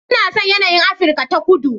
Ina son yanayin Afirka ta Kudu